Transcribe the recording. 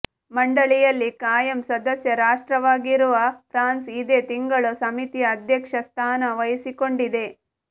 ಮಂಡಳಿಯಲ್ಲಿ ಕಾಯಂ ಸದಸ್ಯ ರಾಷ್ಟ್ರವಾಗಿರುವ ಫ್ರಾನ್ಸ್ ಇದೇ ತಿಂಗಳು ಸಮಿತಿಯ ಅಧ್ಯಕ್ಷ ಸ್ಥಾನ ವಹಿಸಿಕೊಂಡಿದೆ